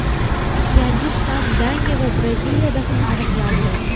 Yangi shtamm Daniya va Braziliyada ham aniqlandi .